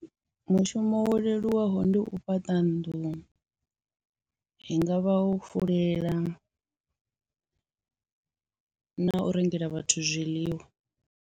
Mushumo wo leluwaho ndi u fhaṱa nnḓu, hu ngavha u fulela na u rengela vhathu zwiḽiwa.